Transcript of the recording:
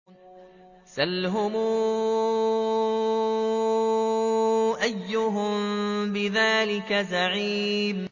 سَلْهُمْ أَيُّهُم بِذَٰلِكَ زَعِيمٌ